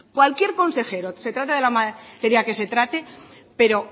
cualquier consejero se trate de la materia que se trate pero oiga